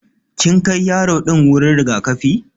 Kin Kai yaro din wuri rigakafi?